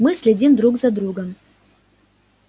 мы следим друг за другом